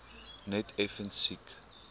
net effens siek